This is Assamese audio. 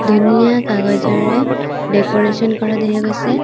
ধুনীয়া কাগজৰে ডেক'ৰেশ্যন কৰা দেখা গৈছে।